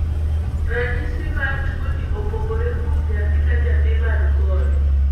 Ranyisi mar tuoni opogore kuom nyathi ka nyathi man kode.